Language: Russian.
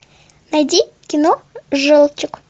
найди кино желтик